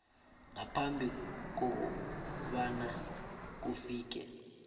ngaphambi kobana kufike